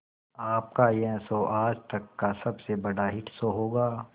आपका यह शो आज तक का सबसे बड़ा हिट शो होगा